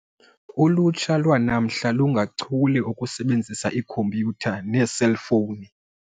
Ulutsha lwanamhla lungachule okusebenzisa ikhompyutha neeselfowuni.